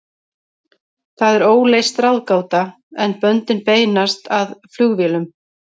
Það er óleyst ráðgáta, en böndin beinast að flugvélum.